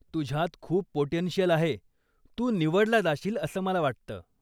तुझ्यात खूप पोटेंशियल आहे, तू निवडला जाशील असं मला वाटतं.